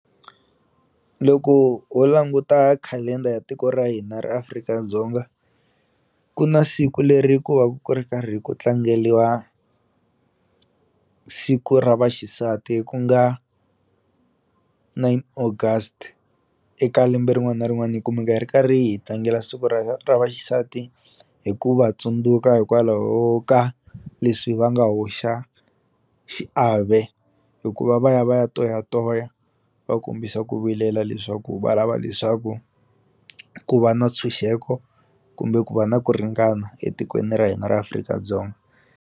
Loko ho languta calendar ya tiko ra hina ra Afrika-Dzonga ku na siku leri ku va ku ri karhi ku tlangeliwa siku ra vaxisati ku nga nine August eka lembe rin'wani na rin'wani hi kumeka hi ri karhi hi tlangela siku ra ra vaxisati hi ku va tsundzuka hikwalaho ka leswi va nga hoxa xiave hikuva va ya va ya toyatoya va kombisa ku vilela leswaku va lava leswaku ku va na ntshunxeko kumbe ku va na ku ringana etikweni ra hina ra Afrika-Dzonga.